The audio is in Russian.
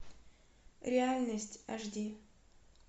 реальность аш ди